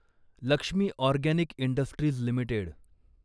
Lakshmi organic industries limited